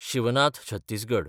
Shivnath Chhattisgarh